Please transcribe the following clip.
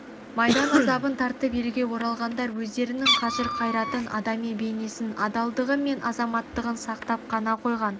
майдан азабын тартып елге оралғандар өздерінің қажыр қайратын адами бейнесін адалдығы мен азаматтығын сақтап қана қойған